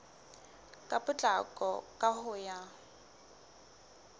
ka potlako ka ho ya